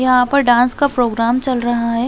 यहाँ पर डांस का प्रोग्राम चल रहा है।